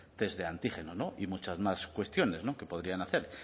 test de antígenos y muchas más cuestiones que podrían hacer